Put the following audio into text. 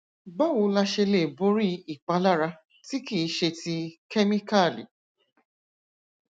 báwo la ṣe lè borí ìpalára tí kì í ṣe ti kemikali